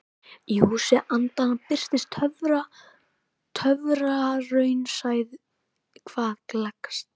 Í Húsi andanna birtist töfraraunsæið hvað gleggst.